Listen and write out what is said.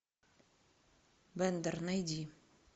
бендер найди